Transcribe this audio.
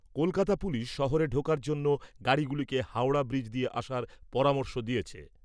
Kolkata police শহরে ঢোকার জন্য গাড়িগুলিকে হাওড়া ব্রিজ দিয়ে আসার পরামর্শ দিয়েছে।